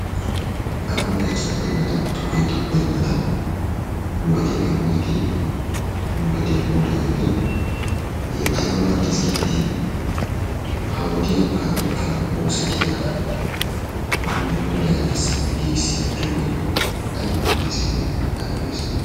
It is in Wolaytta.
Agunttay ceddennaadan, xubee xubbennaadan nu gediya kammiyaagee, nu gediya puulayiyage hegee ayba maaddees giidetii! Ha wodiya pabirkkan oosetidaagee nuna puulayanaassi giigissi yeeddoogee ayba maaddees giideti! Ayba lo''ees giidetii!